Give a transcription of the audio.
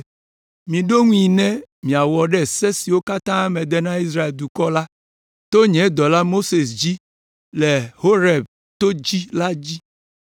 “Miɖo ŋui ne miawɔ ɖe se siwo katã mede na Israel dukɔ la to nye dɔla, Mose dzi le Horeb to dzi la dzi.